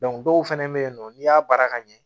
dɔw fɛnɛ be yen nɔ n'i y'a baara ka ɲɛ